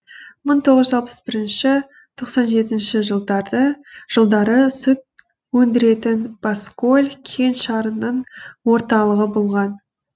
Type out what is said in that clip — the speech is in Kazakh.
мың тоғыз жүз алпыс бірінші тоқсан жетінші жылдары сүт өндіретін баскөл кеңшарының орталығы болған